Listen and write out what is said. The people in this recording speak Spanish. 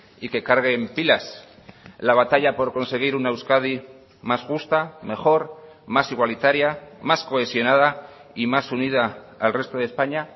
y que carguen pilas la batalla por conseguir una euskadi más justa mejor más igualitaria más cohesionada y más unida al resto de españa